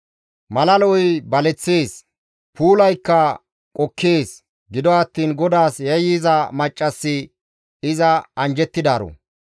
Mala lo7oy baleththees; puulaykka qokkees; gido attiin GODAAS yayyiza maccassi iza anjjettidaaro.